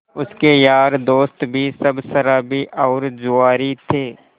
उसके यार दोस्त भी सब शराबी और जुआरी थे